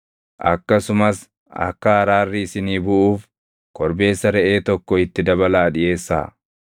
Akkasumas akka araarri isinii buʼuuf korbeessa reʼee tokko itti dabalaa dhiʼeessaa.